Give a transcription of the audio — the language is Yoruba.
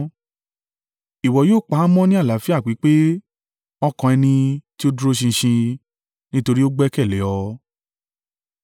Ìwọ yóò pa á mọ́ ní àlàáfíà pípé ọkàn ẹni tí ó dúró ṣinṣin, nítorí ó gbẹ́kẹ̀lé ọ.